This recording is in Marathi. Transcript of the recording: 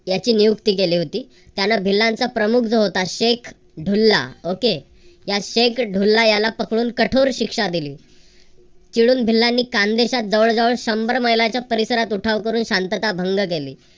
याची नियुक्ती केली होती त्यांन भिल्लांचा प्रमुख जो होता शेख ढुल्ला okay या शेख ढुल्ला याला पकडून कठोर शिक्षा दिली. चिडून भिल्लांनी खानदेशात जवळजवळ शंभर महिलांच्या परिसरात उठाव करून शांतता भंग केली.